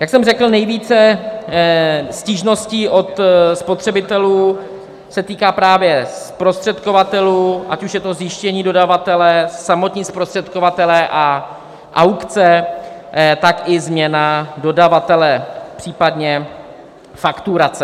Jak jsem řekl, nejvíce stížností od spotřebitelů se týká právě zprostředkovatelů, ať už je to zjištění dodavatele, samotní zprostředkovatelé a aukce, tak i změna dodavatele, případně fakturace.